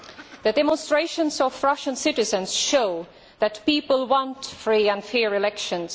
The demonstrations by Russian citizens show that people want free and fair elections.